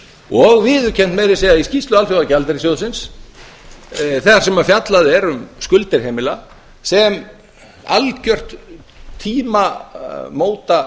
og viðurkennt meira að segja í skýrslu alþjóða gjaldeyrissjóðsins þar sem fjallað er um skuldir heimila sem algjört tímamóta